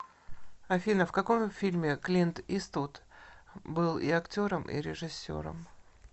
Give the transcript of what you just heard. афина в каком фильме клинт иствуд был и актером и режиссером